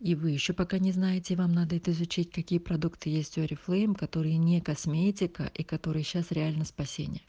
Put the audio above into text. и вы ещё пока не знаете вам надо изучать какие продукты есть в орифлейм которые не косметика и которые сейчас реально спать